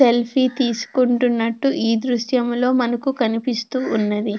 Selfie తీసుకుంటున్నట్టు ఈ దృశ్యంలో మనకు కనిపిస్తూ ఉన్నది.